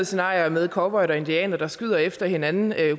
scenarier med cowboyer og indianere der skyder efter hinanden